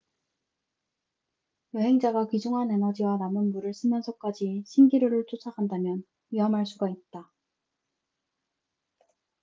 여행자가 귀중한 에너지와 남은 물을 쓰면서까지 신기루를 쫒아간다면 위험할 수가 있다